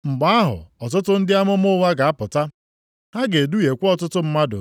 Mgbe ahụ ọtụtụ ndị amụma ụgha ga-apụta. Ha ga-eduhiekwa ọtụtụ mmadụ.